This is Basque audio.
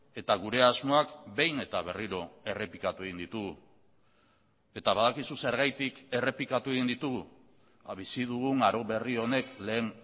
eta gure asmoak behin eta berriro errepikatu egin ditugu eta badakizu zergatik errepikatu egin ditugu bizi dugun aro berri honek lehen